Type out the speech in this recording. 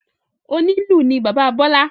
Onílù ni bàbá Bọ́lâ.